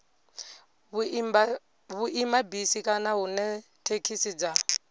vhuimabisi kana hune thekhisi dza